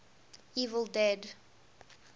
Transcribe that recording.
evil dead